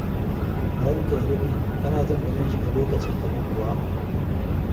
Ranka ya daɗe, kana jin ba zan shiga lokacinka ba kuwa?